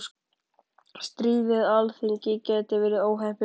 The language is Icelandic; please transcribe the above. Stríð við Alþingi gæti verið óheppilegt